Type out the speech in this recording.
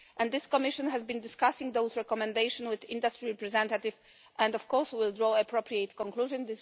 This Commission has been discussing those recommendations with industry representatives and we will draw appropriate conclusions.